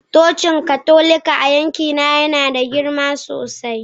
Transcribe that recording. Cocin Katolika a yankina yana da girma sosai